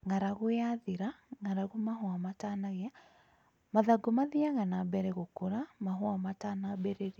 Ng'aragu yathira(ng'aragu mahũa matanagĩa) mathangu mathianaga na mbere gũkũra mahũa matanambĩrĩria